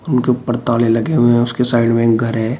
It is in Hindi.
उनके ऊपर ताले लगे हुए हैं उसके साइड में घर है।